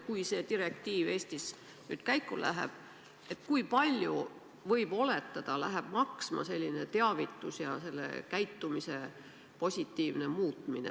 Kui see direktiiv Eestis nüüd käiku läheb, kui palju oletatavasti selline teavitus ja käitumise positiivne muutmine maksma läheb?